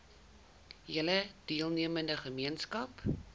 hele deelnemende gemeenskap